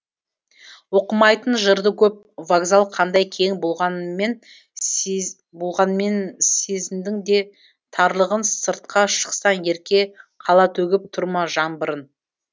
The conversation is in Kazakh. оқымайтын жырды көп вокзал қандай кең болғанмен сезіндің де тарлығын сыртқа шықсаң ерке қала төгіп тұр ма жаңбырын